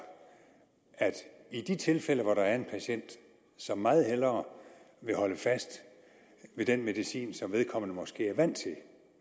at i de tilfælde hvor der er en patient som meget hellere vil holde fast ved den medicin som vedkommende måske er vant til